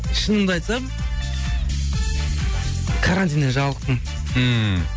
шынымды айтсам карантиннен жалықтым ммм